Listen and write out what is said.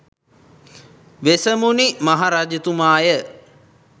වෙසමුණි මහ රජතුමාය